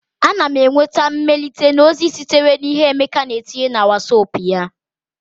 Ana m enweta mmelite na ozi sitere na ihe Emeka na etinye na Wosop ya